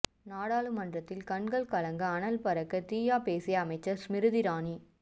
நாடாளுமன்றத்தில் கண்கள் கலங்க அனல் பறக்க தீயா பேசிய அமைச்சர் ஸ்மிருதி இரானி